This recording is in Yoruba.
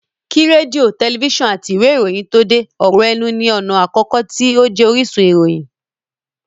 Kí rédíò, tẹlifísàn àti ìwé ìròyìn tó dé, ọ̀rọ̀ ẹnu ní ọ̀nà àkọ́kọ́ tí ó jẹ́ orísun ìròyìn